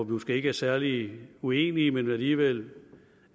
måske ikke er særlig uenige om men alligevel